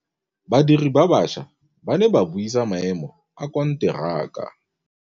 Badiri ba baša ba ne ba buisa maêmô a konteraka.